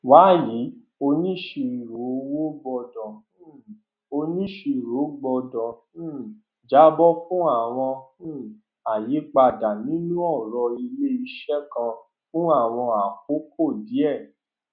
wàyí onisiroowo gbọdọ um onisiroowo gbọdọ um jábọ fún àwọn um àyípadà nínú ọrọ ilé iṣẹ kan fún àwọn àkókò díẹ